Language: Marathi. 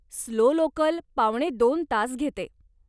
स्लो लोकल पावणेदोन तास घेते.